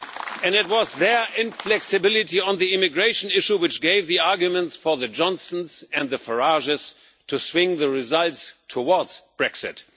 And it was their inflexibility on the immigration issue which gave the arguments for the Johnsons and the Farages to swing the results towards Brexit.